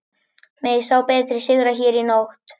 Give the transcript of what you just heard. Megi sá betri sigra hér í nótt.